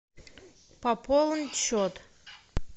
пополнить счет